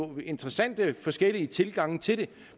er interessante forskellige tilgange til det